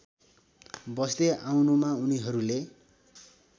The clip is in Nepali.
बस्दै आउनुमा उनिहरूले